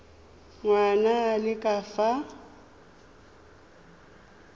ngwana a le ka fa